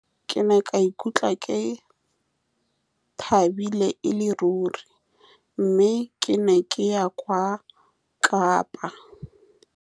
Ke ne ka ikutlwa ke thabile e le ruri, mme ke ne ke ya kwa kapa.